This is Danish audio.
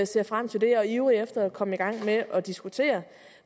ser frem til det og er ivrige efter at komme i gang med at diskutere